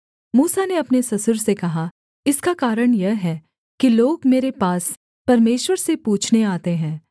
मूसा ने अपने ससुर से कहा इसका कारण यह है कि लोग मेरे पास परमेश्वर से पूछने आते हैं